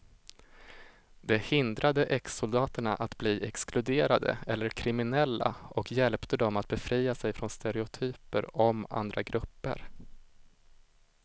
Det hindrade exsoldaterna att bli exkluderade eller kriminella och hjälpte dem att befria sig från stereotyper om andra grupper.